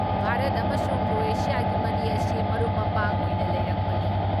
ꯚꯥꯔꯠ ꯑꯃꯁꯨꯡ ꯀ꯭ꯔꯣꯑꯦꯁꯤꯌꯥꯒꯤ ꯃꯔꯤ ꯑꯁꯤ ꯃꯔꯨꯞ ꯃꯄꯥꯡ ꯑꯣꯏꯅ ꯂꯩꯔꯛꯄꯅꯤ ꯫